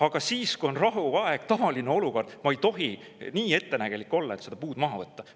Aga siis, kui on rahuaeg, tavaline olukord, ma ei tohi nii ettenägelik olla, et seda puud maha võtta.